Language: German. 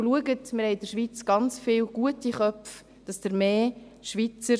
Und schauen Sie, wir haben in der Schweiz ganz viele gute Köpfe, Schweizer;